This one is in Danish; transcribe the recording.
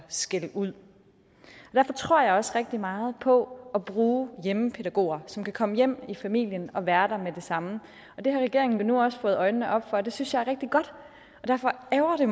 skælde ud derfor tror jeg også rigtig meget på det at bruge hjemmepædagoger som kan komme hjem i familien og være der med det samme det har regeringen nu også fået øjnene op for og det synes jeg er rigtig godt derfor ærgrer det